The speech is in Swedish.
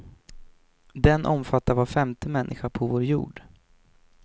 Den omfattar var femte människa på vår jord.